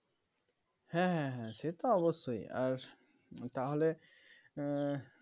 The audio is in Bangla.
হ্যাঁ হ্যাঁ হ্যাঁ সে তো অবশ্যই আর তাহলে উম